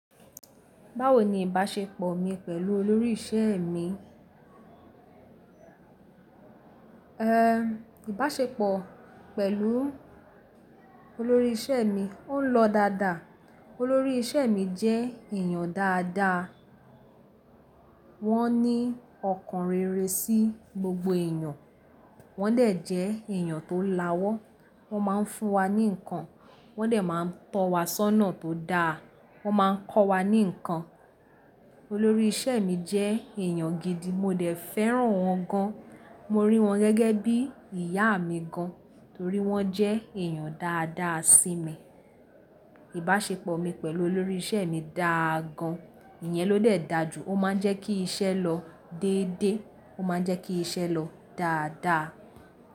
Báwo ni ìbáṣepọ̀ mi pẹ̀lú olórí ìṣe mi? Ehn, ìbáṣepọ̀ pẹ̀lú olórí ìṣe mi ò ń lọ dáadáa. Olórí ìṣe mi jẹ́ èèyàn dáadáa. Wọ́n ní ọkàn rere sí gbogbo èèyàn. Wọ́n dẹ̀ jẹ́ èèyàn tó lawọ́. Wọ́n máa ń fún wa ní ǹkan. Wọ́n dẹ̀ máa ń tọ̀ wa sọ́nà tó dáa. Wọ́n máa ń kọ́ wa ní ǹkan. Olórí ìṣe mi jẹ́ èèyàn gidi. Mo dẹ̀ fẹ́ràn wọn gan. Mo rí wọn gẹ́gẹ́ bí ìyá mi gan, torí wọ́n jẹ́ èèyàn dáadáa sí mi. Ìbáṣepọ̀ mi pẹ̀lú olórí ìṣe mi dáa gan. Ìyẹn ló dẹ̀ dà ju. Ó máa ń jẹ́ kí iṣẹ́ lọ dédé. Ó máa ń jẹ́ kí iṣẹ́ lọ dáadáa.